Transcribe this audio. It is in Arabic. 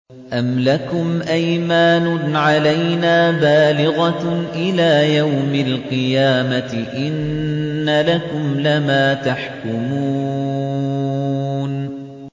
أَمْ لَكُمْ أَيْمَانٌ عَلَيْنَا بَالِغَةٌ إِلَىٰ يَوْمِ الْقِيَامَةِ ۙ إِنَّ لَكُمْ لَمَا تَحْكُمُونَ